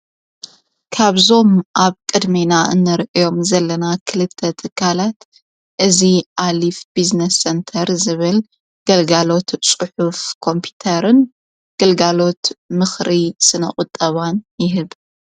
ካብዞም ኣብ ቅድሜና እንር እዮም ዘለና ክልተ ተካላት እዙ ኣሊፍ ብዝኔስ ሴንተር ዝብል ገልጋሎት ጽሑፍ ኮምፑተርን ገልጋሎት ምኽሪ ስነቝጠባን ይህብ።